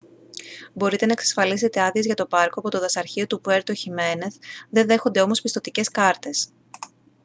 μπορείτε να εξασφαλίσετε άδειες για το πάρκο από το δασαρχείο του puerto jiménez δεν δέχονται όμως πιστωτικές κάρτες